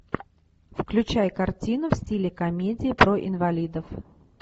включай картину в стиле комедия про инвалидов